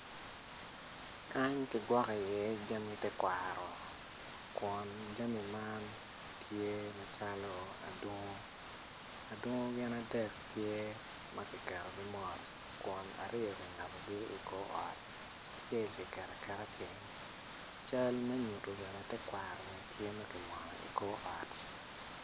Kany ki gwokko iye jami te kwaro kun jami man tye macalo adungu, adungu gin adek tye ma ki ketogi mot kun ariyo ki ngabogi i kor ot acel ki keto aketa piny cal me nyuto bene terkwaro bene tye ma ki mwono i kor ot